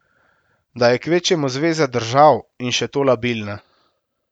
Da je kvečjemu zveza držav, in še to labilna.